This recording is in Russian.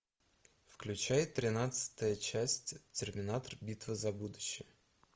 включай тринадцатая часть терминатор битва за будущее